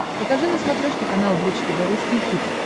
покажи на смотрешке канал бридж тв русский хит